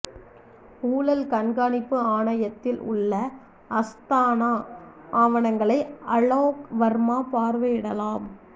ஊழல் கண்காணிப்பு ஆணையத்தில் உள்ள அஸ்தானா ஆவணங்களை அலோக் வர்மா பார்வையிடலாம்